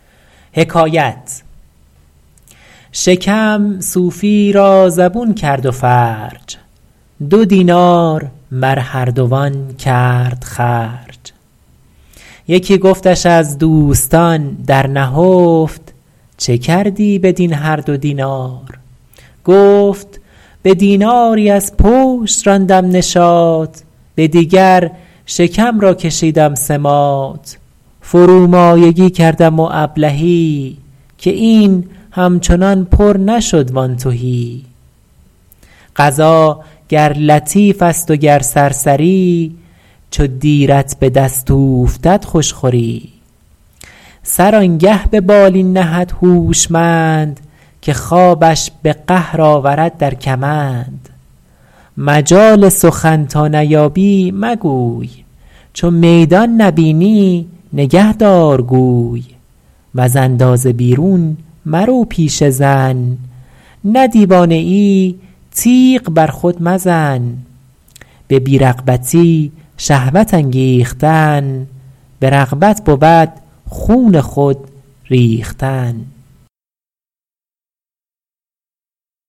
شکم صوفیی را زبون کرد و فرج دو دینار بر هر دوان کرد خرج یکی گفتش از دوستان در نهفت چه کردی بدین هر دو دینار گفت به دیناری از پشت راندم نشاط به دیگر شکم را کشیدم سماط فرومایگی کردم و ابلهی که این همچنان پر نشد وآن تهی غذا گر لطیف است و گر سرسری چو دیرت به دست اوفتد خوش خوری سر آنگه به بالین نهد هوشمند که خوابش به قهر آورد در کمند مجال سخن تا نیابی مگوی چو میدان نبینی نگه دار گوی وز اندازه بیرون مرو پیش زن نه دیوانه ای تیغ بر خود مزن به بی رغبتی شهوت انگیختن به رغبت بود خون خود ریختن